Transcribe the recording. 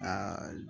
Aa